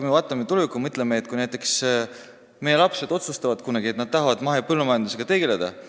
Vaatame tulevikku ja mõtleme selle peale, kui näiteks meie lapsed otsustavad kunagi, et nad tahavad mahepõllumajandusega tegeleda.